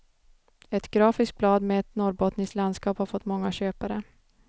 Ett grafiskt blad med ett norrbottniskt landskap har fått många köpare.